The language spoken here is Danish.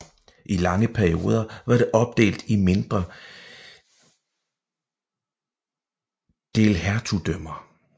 I lange perioder var det opdelt i mindre delhertugdømmer